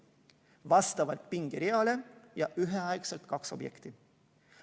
" Vastavalt pingereale ja üheaegselt kaks objekti.